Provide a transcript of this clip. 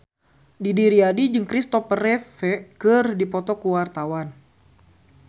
Didi Riyadi jeung Christopher Reeve keur dipoto ku wartawan